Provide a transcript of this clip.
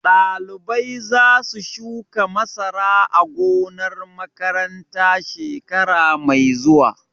Ɗalibai za su shuka masara a gonar makaranta shekara mai zuwa